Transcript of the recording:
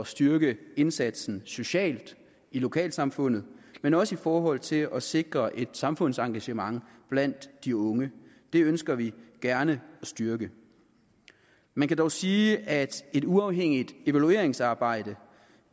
styrke indsatsen socialt i lokalsamfundet men også i forhold til at sikre et samfundsengagement blandt de unge det ønsker vi gerne at styrke man kan dog sige at et uafhængigt evalueringsarbejde